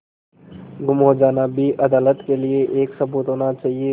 गुम हो जाना भी अदालत के लिये एक सबूत होना चाहिए